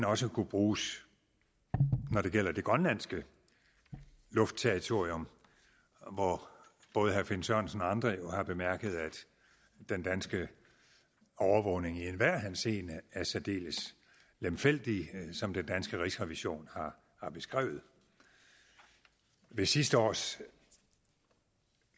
også kunne bruges når det gælder det grønlandske luftterritorium hvor både herre finn sørensen og andre har bemærket at den danske overvågning i enhver henseende er særdeles lemfældig sådan som den danske rigsrevision har beskrevet ved sidste års